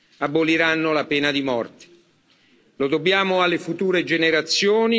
Lo dobbiamo alle future generazioni, lo dobbiamo a noi stessi.